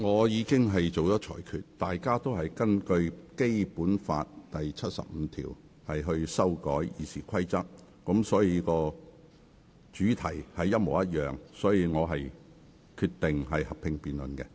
由於所有擬議決議案均是根據《基本法》第七十五條提出修改《議事規則》，因此屬同一主題，因此我決定進行合併辯論。